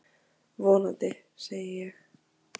Vonandi, segi ég.